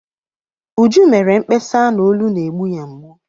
Uju mere mkpesa na olu na-egbu ya mgbu.